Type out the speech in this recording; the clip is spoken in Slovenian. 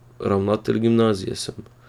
Ravnatelj gimnazije sem.